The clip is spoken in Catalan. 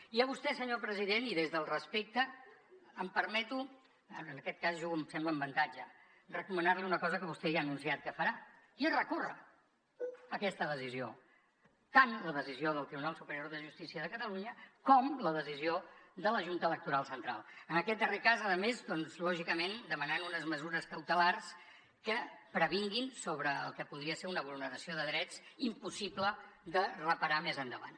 i a vostè senyor president i des del respecte em permeto en aquest cas jugo em sembla amb avantatge recomanar li una cosa que vostè ja ha anunciat que farà i és recórrer aquesta decisió tant la decisió del tribunal superior de justícia de catalunya com la decisió de la junta electoral central en aquest darrer cas a més doncs lògicament demanant unes mesures cautelars que previnguin sobre el que podria ser una vulneració de drets impossible de reparar més endavant